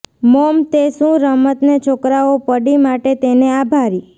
mom તે શું રમતને છોકરાઓ પડી માટે તેને આભારી